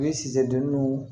U ye sisidonw